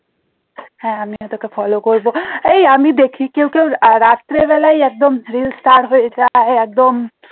হ্যাঁ আমিও তোকে follow করবো এই আমি দেখি কেউ কেউ রাতের বেলায় একদম reel star হয়ে যায় একদম